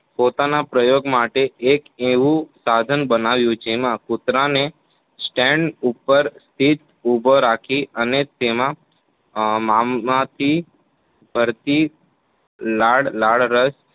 પોતાના પ્રયોગ માટે એક એવું સાધન બનાવ્યું છે. જેમાં કૂતરાને સ્ટેન્ડ ઉપર સ્થિત ઉભો રાખી અને તેમાં મામ માટી ફરતી લાળરસ